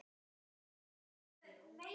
Heyrðu Ólafur.